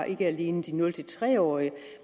ikke alene de nul tre årige